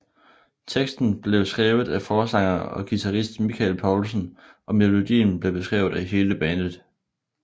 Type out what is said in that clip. Teksten blev skrevet af forsanger og guitarist Michael Poulsen og melodien blev skrevet af hele bandet